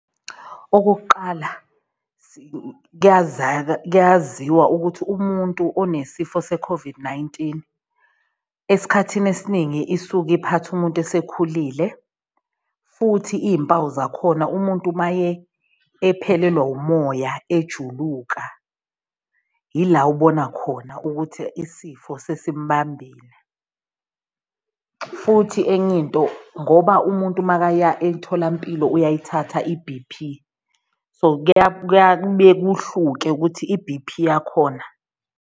Okokuqala kuyaziwa ukuthi umuntu onesifo se-COVID-19 esikhathini esiningi isuke iphatha umuntu esekhulile, futhi iy'mpawu zakhona umuntu maye ephelelwa umoya ejuluka yila ubona khona ukuthi isifo sesimbambile. Futhi enye into ngoba umuntu makaya emtholampilo uyayithatha i-B_P so kuya kuhluke ukuthi i-B_P yakhona.